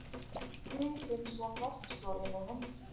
Guðfinnsson verkstjóri með höndum.